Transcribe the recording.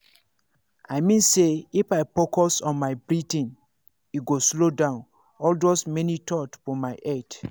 i mean say if i focus on my breathing e go slow down all those many thoughts for my head.